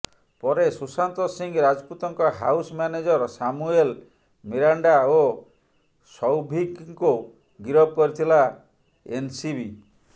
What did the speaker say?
ପରେ ସୁଶାନ୍ତ ସିଂହ ରାଜପୁତଙ୍କ house manager Samuel Miranda ଓ ସୌଭିକ୍ଙ୍କୁ ଗରିଫ କରିଥିଲା ଏନ୍ସିବି